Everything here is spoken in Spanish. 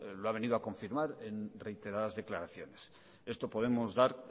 lo ha venido a confirmar en reiteradas declaraciones esto podemos dar